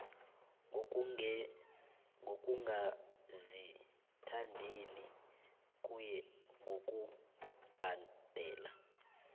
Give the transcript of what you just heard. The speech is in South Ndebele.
ngokungazithandeli kuye ngokubhadela